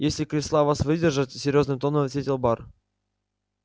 если кресла вас выдержат серьёзным тоном ответил бар